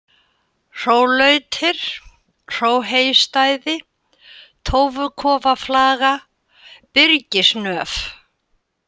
Hrólautir, Hróheystæði, Tófukofaflaga, Byrgisnöf